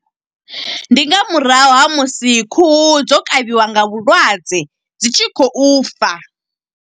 Ndi nga murahu ha musi khuhu dzo kavhiwa nga vhulwadze, dzi tshi khou fa.